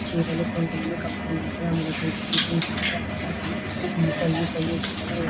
చీరలు ఎక్కువగా కప్పుకున్నట్లు ఆకపిస్తుంది ఇలాంటి ఆచారాలు కొన్ని కొన్ని ఎక్కువగా ఉంటాయి --